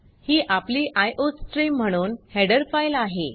ही आपली आयोस्ट्रीम म्हणून header file आहे